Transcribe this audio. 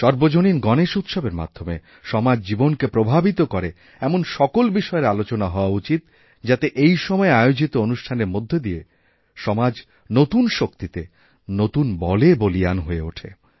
সর্বজনীন গণেশ উৎসবের মাধ্যমে সমাজজীবনকে প্রভাবিত করে এমন সকল বিষয়ের আলোচনা হওয়া উচিত যাতে এই সময়ে আয়োজিতঅনুষ্ঠানের মধ্যে দিয়ে সমাজ নতুন শক্তিতে নতুন বলে বলীয়ান হয়ে ওঠে